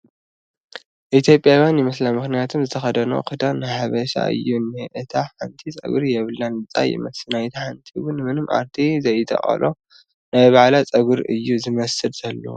ኢ/ያዊያን ይመስላ ምኽንያቱም ዝተኸደነኦ ኽዳነን ናይ ሓበሻ እዩ እንሄ ፡ እታ ሓንቲ ፀጉሪ የብላን ልፃይ ይመስል ናይታ ሓንቲ ውን ምንም ኣርቴ ዘይተቐሎ ናይ ባዕላ ፀጉሩ እዩ ዝመስል ዘሎ ።